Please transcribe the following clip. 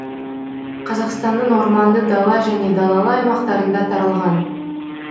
қазақстанның орманды дала және далалы аймақтарында таралған